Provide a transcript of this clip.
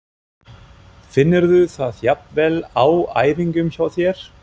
Finnurðu það jafnvel á æfingum hjá þér?